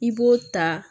I b'o ta